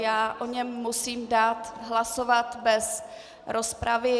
Já o něm musím dát hlasovat bez rozpravy.